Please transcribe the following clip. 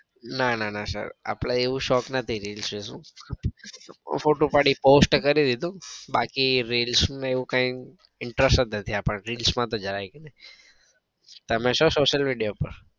ના ના ના sir આપડે એવો શોખ નથી reels જેવું ફોટો પાડીને post કરીદીધો બાકી reels નો એવો કઈ interest જ નથી આપડને reels માં તો જરાય ભી નઈ. તમે છો social media ઉપર?